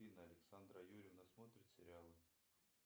александра юрьевна смотрит сериалы